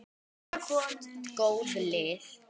Þetta eru allt góð lið.